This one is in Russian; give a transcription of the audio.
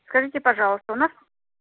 скажите пожалуйста у нас